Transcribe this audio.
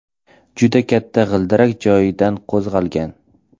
Juda katta g‘ildirak joyidan qo‘zg‘algan.